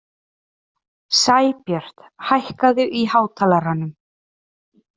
Sæbjört, hækkaðu í hátalaranum.